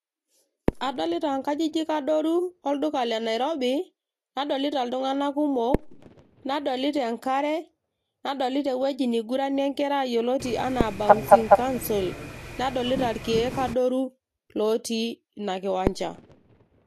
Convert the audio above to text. adolita inkajijik adoru olduka le nairobi nadolita iltung'anak kumok nadolita enkare nadolita ewueji niguranie inkera yioloti anaa bouncing council nadolita irkeek adoru otii ina kiwanja.